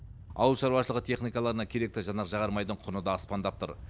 ауыл шаруашылығы техникаларына керекті жанар жағармайдың құны да аспандап тұр